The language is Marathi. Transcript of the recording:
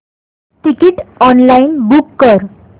तिकीट ऑनलाइन बुक कर